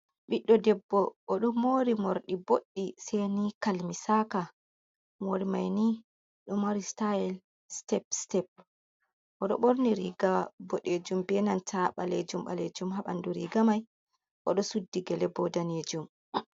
Ɓiɗɗo debbo oɗo mori morɗi boɗɗi seni kalmisaka, mori maini oɗo mari stayel step step oɗo ɓorni riga boɗejum benanta ɓalejum ɓalejum haɓandu rigamai, oɗo suddi gelebo danejum.